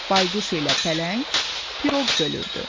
Bayquş ilə pələng piroq bölürdü.